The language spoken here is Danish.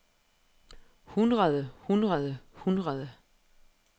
hundrede hundrede hundrede